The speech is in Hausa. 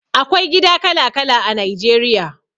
Akwai gida kala kala a Nigeria